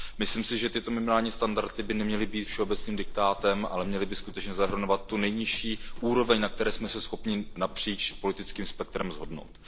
Myslím si, že tyto minimální standardy by neměly být všeobecným diktátem, ale měly by skutečně zahrnovat tu nejnižší úroveň, na které jsme se schopni napříč politickým spektrem shodnout.